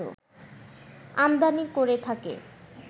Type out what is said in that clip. আমদানি করে থাকে